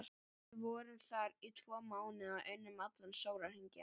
Við vorum þar í tvo mánuði og unnum allan sólarhringinn.